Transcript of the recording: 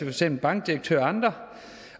eksempel bankdirektører og andre